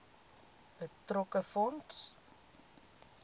betrokke fonds